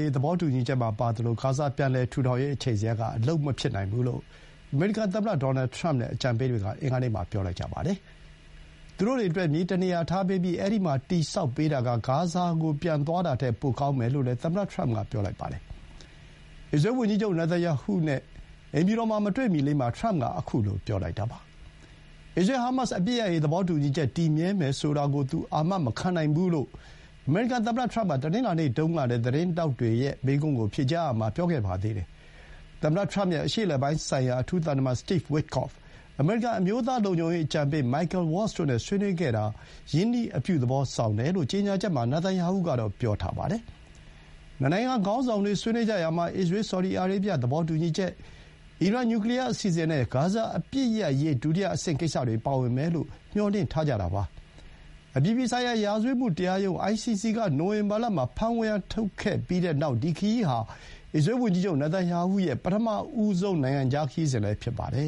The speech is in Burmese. ရေး သဘောတူညီချက်မှာ ပါသလို ဂါဇာ ပြန်လည်ထူထောင်ရေး အချိန်ဇယားက အလုပ်မဖြစ်နိုင်ဘူးလို့ အမေရိကန်သမ္မတ ဒေါ်နယ်ထရမ့်နဲ့ အကြံပေးတွေက အင်္ဂါနေ့မှာ ပြောလိုက်ကြပါတယ်။ ပါလက်စတိုင်းတွေအတွက် မြေတနေရာပေးပြီး အဲဒီမှာ တည်ဆောက်ပေးတာက ဂါဇာကို ပြန်သွားတာထက် ပိုကောင်းမယ်လို့လည်း သမ္မတထရမ့်က ပြောလိုက်ပါတယ်။ အစ္စရေးလ်ဝန်ကြီးချုပ် နေတန်ယာဟုနဲ့ အိမ်ဖြူတော်မှာ မတွေ့မီလေးမှာ ထရမ့်က ခုလို ပြောလိုက်တာပါ။ အစ္စရေးလ်-ဟာမတ်စ် အပစ်ရပ်ရေး သဘောတူညီချက် တည်မြဲမယ်ဆိုတာကို သူ အာမမခံနိုင်ဘူး လို့ အမေရိကန်သမ္မတ ထရမ့်က တနင်္လာနေ့တုန်းကလည်း သတင်းထောက်တွေရဲ့ မေးခွန်းကို ဖြေကြားရာမှာ ပြောခဲ့ပါတယ်။ သမ္မတထရမ့်ရဲ့ အရှေ့အလယ်ပိုင်းဆိုင်ရာ အထူးသံတမန် Steve Witkoff အမေရိကန် အမျိုးသား လုံခြုံရေး အကြံပေး Michael Waltz တို့နဲ့ ဆွေးနွေးခဲ့တာ ရင်းနှီး အပြုသဘောဆောင်တယ်လို့ ကြေညာချက်မှာ နေတန်ယာဟုက ပြောပါတယ်။ နှစ်နိုင်ငံခေါင်းဆောင်တို့ ဆွေးနွေးကြရာမှာ အစ္စရေးလ်-ဆော်ဒီအာရေဗျ သဘောတူညီချက်၊ အီရန် နျူကလီယား အစီအစဥ်နဲ့ ဂါဇာ အပစ်ရပ်ရေး ဒုတိယအဆင့်ကိစ္စတွေ ပါဝင်မယ်လို့ မျှော်လင့်ထားကြတာပါ။ အပြည်ပြည်ဆိုင်ရာ ရာဇဝတ်မှုတရားရုံး (ICC) က နိုဝင်ဘာလမှာ ဖမ်းဝရမ်း ထုတ်လိုက်ပြီးတဲ့နောက် ဒီခရီးဟာ အစ္စရေးလ်ဝန်ကြီးချုပ် နေတန်ယာဟုရဲ့ ပထမဆုံး နိုင်ငံခြားခရီးစဥ်လည်း ဖြစ်ပါတယ